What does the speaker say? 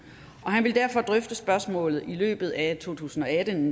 og han ville derfor drøfte spørgsmålet i løbet af to tusind og atten